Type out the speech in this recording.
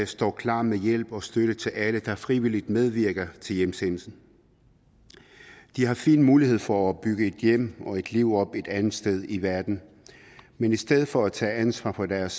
står klar med hjælp og støtte til alle der frivilligt medvirker til hjemsendelse de har fin mulighed for at bygge et hjem og et liv op et andet sted i verden men i stedet for at tage ansvar for deres